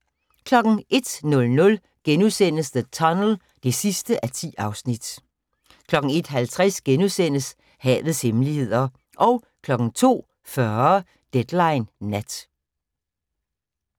01:00: The Tunnel (10:10)* 01:50: Havets hemmeligheder * 02:40: Deadline Nat